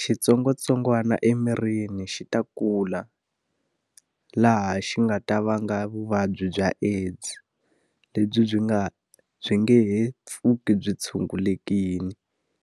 xitsongwatsongwana emirini xi ta kula. Laha xi nga ta vanga vuvabyi bya AIDS lebyi byi nga byi nge he pfuki byi tshungulekile.